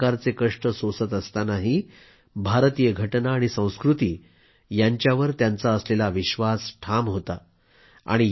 इतक्या प्रकारचे कष्ट सोसत असतानाही भारतीय घटना आणि संस्कृती यांच्यावर त्यांचा असलेला विश्वास ठाम होता